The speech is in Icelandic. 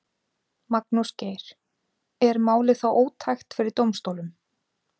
Magnús Geir: Er málið þá ótækt fyrir dómsstólum?